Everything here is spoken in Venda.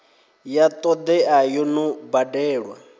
ya todea yo no badelwa